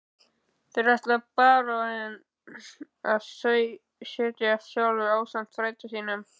Þar ætlaði baróninn að setjast að sjálfur ásamt frænda sínum.